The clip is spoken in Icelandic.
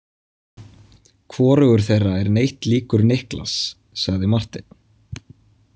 Hvorugur þeirra er neitt líkur Niklas, sagði Marteinn.